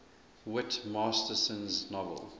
whit masterson's novel